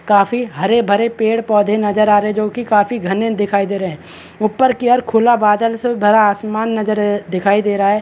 काफी हरे -भरे पेड़ -पौधे नजर आ रहॆ है जोकि काफी घने दिखाई दे रहे है ऊपर की ओर खुला बादल से भरा आसमान नजर दिखाई दे रहा हैं |